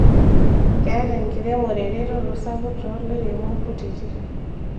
Keeta enkiremore eretoto sapuk too lairemok kutiti